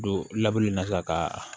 Don laban na sisan ka